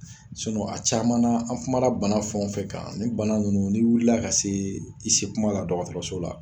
Sinɔn a caman na an kuma na bana fɛn fɛn kan nin bana nunnu n'i wulila ka se i se kuma la dɔgɔtɔrɔso la